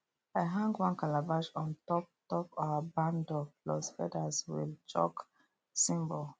i hang one calabash on top top our barn door plus feathers chalk symbol